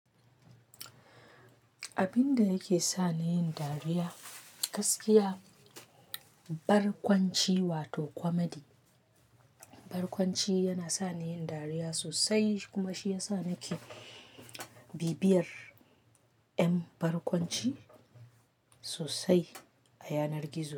Abin da yake sa ni yin dariya gaskiya, barkwanci wato kwomadi. Barkwanci yana sa ni yin dariya sosai kuma shi ya sa nake bibiyar 'yan barkwanci sosai a yanar gizo.